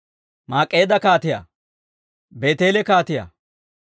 Mak'k'eedda kaatiyaa, Beeteele kaatiyaa,